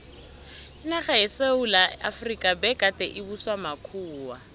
inarha yesewula efrika begade ibuswa makhuwa